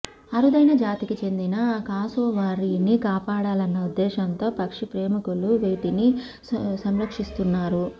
అరుదైన జాతికి చెందిన కాసోవారీని కాపాడాలన్న ఉద్దేశంలో పక్షి ప్రేమికులు వీటిని సంరక్షిస్తున్నారు